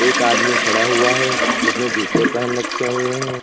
एक आदमी खड़ा हुआ है जिसने जूते पहन रखे हुए हैं।